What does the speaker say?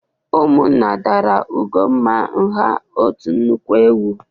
Ụmụnna dara Ugonma ngha otu nnukwu ewu